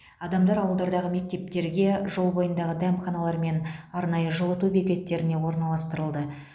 адамдар ауылдардағы мектептерге жол бойындағы дәмханалар мен арнайы жылыту бекеттеріне орналастырылды